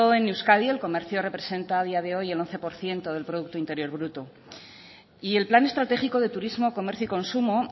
en euskadi el comercio representa a día de hoy el once por ciento del producto interior bruto y el plan estratégico de turismo comercio y consumo